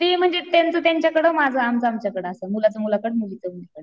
ते म्हणजे त्यांचं त्यांच्याकडं माझं आमचं आमच्याकडं असं. मुलाचं मुलांकडं मुलीचं मुलीकड